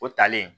O talen